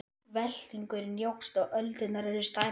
Veltingurinn jókst og öldurnar urðu stærri.